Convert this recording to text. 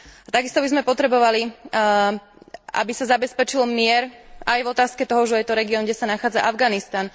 Takisto by sme potrebovali, aby sa zabezpečil mier aj v otázke toho, že je to región, kde sa nachádza Afganistan.